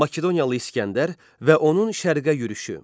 Makedoniyalı İsgəndər və onun Şərqə yürüşü.